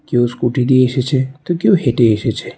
কেউ স্কুটি নিয়ে এসেছে তো কেউ হেঁটে এসেছে।